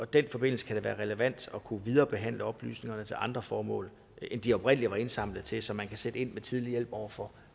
den forbindelse kan det være relevant at kunne viderebehandle oplysningerne til andre formål end de oprindelig var indsamlet til så man kan sætte ind med tidlig hjælp over for